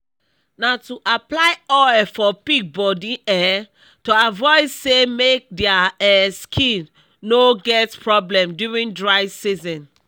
na too apply oil for pig body um to avoid sey make dia um skin no get problem during dry season